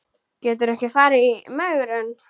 Gætirðu ekki farið í megrun?